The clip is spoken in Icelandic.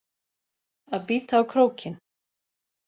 Að bíta á krókinn